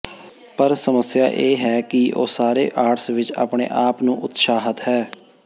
ਪਰ ਸਮੱਸਿਆ ਇਹ ਹੈ ਕਿ ਉਹ ਸਾਰੇ ਆਰਟਸ ਵਿੱਚ ਆਪਣੇ ਆਪ ਨੂੰ ਨੂੰ ਉਤਸ਼ਾਹਤ ਹੈ